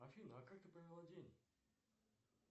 афина а как ты провела день